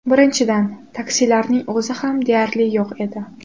Birinchidan, taksilarning o‘zi ham deyarli yo‘q edi.